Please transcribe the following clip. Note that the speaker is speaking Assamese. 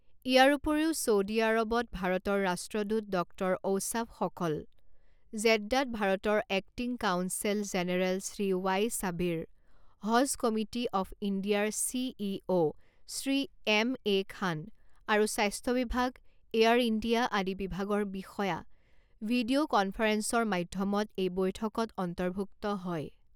ইয়াৰ উপৰিও, চৌডি আৰবত ভাৰতৰ ৰাষ্ট্ৰদূত ডক্টৰ ঔসাফ সকল, জেড্ডাত ভাৰতৰ acting consul general Shri Y Sabir, Haj committee of ইণ্ডিয়াৰ C E O Shri M A Khan আৰু স্বাস্থ্য বিভাগ, এয়াৰ ইণ্ডিয়া আদি বিভাগৰ বিষয়া ভিডিঅ কনফাৰেঞ্চৰ মাধ্যমত এই বৈঠকত অন্তৰ্ভুক্ত হয়।